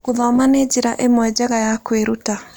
Gũthoma nĩ njĩra ĩmwe njega ya kwĩruta.